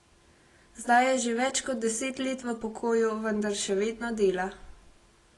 Zdaj je že več kot deset let v pokoju, vendar še vedno dela.